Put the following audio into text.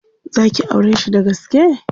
Za ki aureshi dagaske?